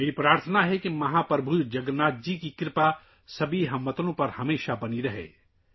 میری خواہش ہے کہ مہا پربھو جگن ناتھ کا آشیرواد تمام ہم وطنوں پر ہمیشہ قائم رہے